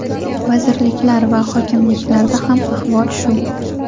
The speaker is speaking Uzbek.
Vazirliklar va hokimliklarda ham ahvol shu.